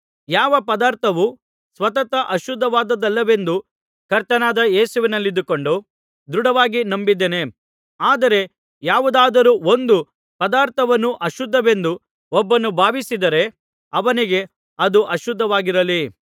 ಯಾವ ಪದಾರ್ಥವೂ ಸ್ವತಃ ಅಶುದ್ಧವಾದದ್ದಲ್ಲವೆಂದು ಕರ್ತನಾದ ಯೇಸುವಿನಲ್ಲಿದ್ದುಕೊಂಡು ದೃಢವಾಗಿ ನಂಬಿದ್ದೇನೆ ಆದರೆ ಯಾವುದಾದರೂ ಒಂದು ಪದಾರ್ಥವನ್ನು ಅಶುದ್ಧವೆಂದು ಒಬ್ಬನು ಭಾವಿಸಿದರೆ ಅವನಿಗೆ ಅದು ಅಶುದ್ಧವಾಗಿರಲಿ